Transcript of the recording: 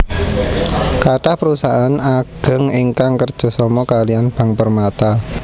Kathah perusahaan ageng ingkang kerja sama kaliyan Bank Permata